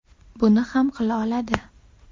Buni ham qila oladi.